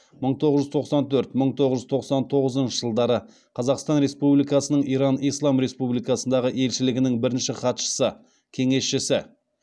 мың тоғыз жүз тоқсан төрт мың тоғыз жүз тоқсан тоғызыншы жылдары қазақстан республикасының иран ислам республикасындағы елшілігінің бірінші хатшысы кеңесшісі